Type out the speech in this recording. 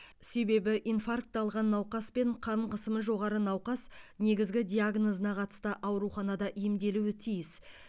себебі инфракт алған науқас пен қан қысымы жоғары науқас негізгі диагнозына қатысты ауруханада емделуі тиіс